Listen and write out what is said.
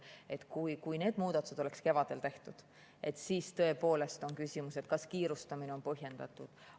Kui need muudatused oleks tehtud kevadel, siis tõepoolest oleks küsimus, et kas kiirustamine oli põhjendatud.